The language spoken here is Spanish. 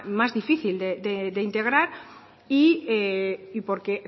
más difícil de integrar y porque